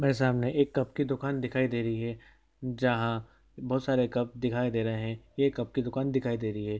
मेरे सामने एक कप की दुकान दिखाई दे रही है जहाँ बहुत सारे कप दिखाई दे रहे है ये कप की दुकान दिखाई दे रही हैं ।